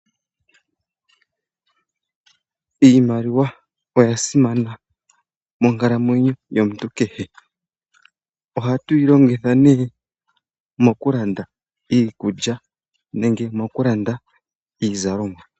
Iimaliwa oya simana monkalamweyo yomuntu kehe. Ohatu yi longitha nee mokulanda iikulya nenge mokulanda iizalomwa.